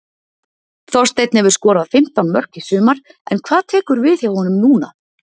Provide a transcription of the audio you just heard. Þorsteinn hefur skorað fimmtán mörk í sumar en hvað tekur við hjá honum núna?